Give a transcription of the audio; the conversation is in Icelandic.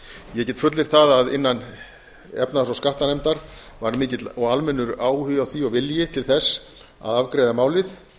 ég get fullyrt það að innan efnahags og skattanefndar ár mikill og almennur áhugi á því og vilji til þess að afgreiða málið